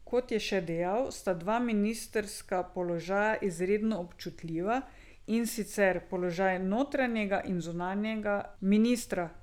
Kot je še dejal, sta dva ministrska položaja izredno občutljiva, in sicer položaj notranjega in zunanjega ministra.